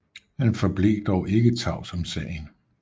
Han forblev dog ikke tavs om sagen